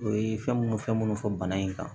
O ye fɛn munnu fɛn munnu fɔ bana in kan